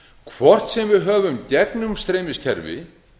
hvort sem við höfum gegnumstreymiskerfi